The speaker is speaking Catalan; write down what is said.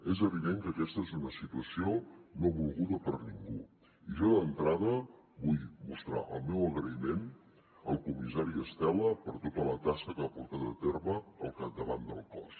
és evident que aquesta és una situació no volguda per ningú i jo d’entrada vull mostrar el meu agraïment al comissari estela per tota la tasca que ha portat a terme al capdavant del cos